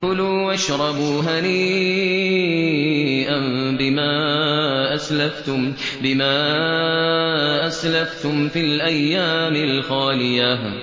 كُلُوا وَاشْرَبُوا هَنِيئًا بِمَا أَسْلَفْتُمْ فِي الْأَيَّامِ الْخَالِيَةِ